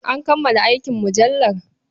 An kammala aikin mujallar?